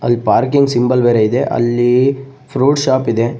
ಅಲ್ಲಿ parking symbol ಬೇರೆ ಇದೆ ಅಲ್ಲಿ ಫ್ರೂಟ್ಸ್ ಶಾಪ್ ಇದೆ.